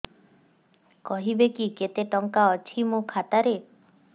କହିବେକି କେତେ ଟଙ୍କା ଅଛି ମୋ ଖାତା ରେ